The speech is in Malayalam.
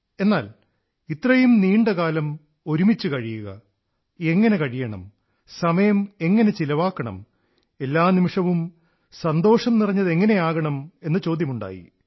എന്നാൽ ഇത്രയും നീണ്ട കാലം ഒരുമിച്ചു കഴിയുക എങ്ങനെ കഴിയണം സമയം എങ്ങനെ ചിലവാക്കണം എല്ലാ നിമിഷവും സന്തോഷം നിറഞ്ഞതെങ്ങനെയാകണം എന്ന ചോദ്യങ്ങളുണ്ടായി